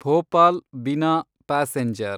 Bhopal Bina passenger